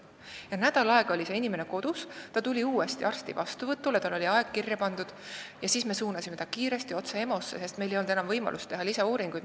Nii et nädal aega oli see inimene kodus ja alles siis, kui ta tuli uuesti arsti vastuvõtule – tal oli aeg kirja pandud –, me suunasime ta otse EMO-sse, sest meil ei olnud enam võimalust teha lisauuringuid.